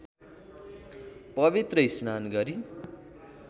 पवित्र स्नान गरी